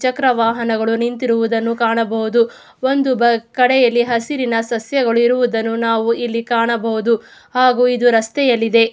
ಚಕ್ರ ವಾಹನಗಳು ನಿಂತಿರುವುದನ್ನು ಕಾಣಬಹುದು ಒಂದು ಕಡೆಯಲ್ಲಿ ಹಸಿರಿನ ಸಸ್ಯಗಳು ಇರುವುದನ್ನು ನಾವು ಇಲ್ಲಿ ಕಾಣಬಹುದು ಹಾಗು ಇದು ರಸ್ತೆಯಲ್ಲಿ ಇದೆ.